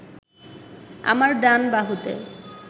আমার ডান বাহুতে